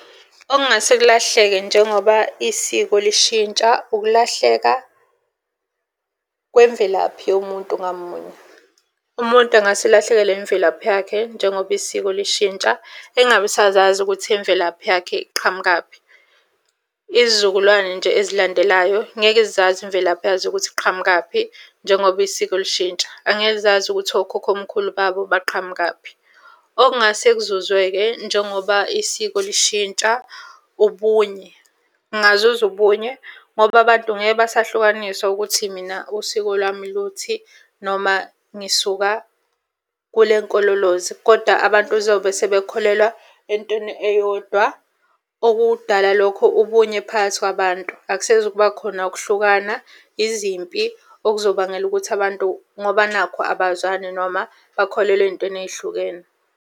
Okungase kulahleke njengoba isiko lishintsha, ukulahleka kwemvelaphi yomuntu ngamunye. Umuntu angase elahlekelwe imvelaphi yakhe njengoba isiko lishintsha, engabe esazazi ukuthi imvelaphi yakhe iqhamukaphi. Izizukulwane nje ezilandelayo ngeke zazi imvelaphi yazo ukuthi iqhamukaphi njengoba isiko lishintsha. Angeke zazi ukuthi okhokhomkhulu babo baqhamukaphi. Okungase kuzuzwe-ke njengoba isiko lishintsha ubunye, kungazuzwa ubunye ngoba abantu ngeke basahlukaniswa ukuthi mina usiko lami luthi, noma ngisuka kule nkololoze koda abantu uzobe sebekholelwa entweni eyodwa. Okudala lokho ubunye phakathi kwabantu, akusezukubakhona ukuhlukana, izimpi okuzobangelwa ukuthi abantu ngoba nakhu abazwani noma bakholelwa ey'ntweni ey'hlukene.